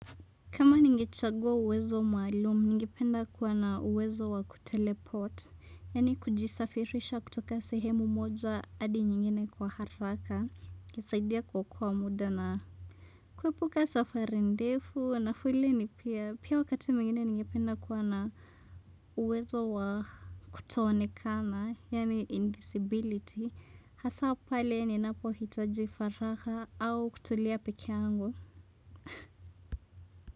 Kama nigechagua uwezo maalum, nigependa kuwa na uwezo wa kuteleport, yani kujisafirisha kutoka sehemu moja adi nyingine kwa haraka, kisaidia kwa kuwa muda na kuepuka safarindefu, na fule ni pia, pia wakati mwingine nigependa kuwa na uwezo wa kutoonekana, yani indisibility, hasa pale ni napo hitaji faraha au kutulia peke yangu.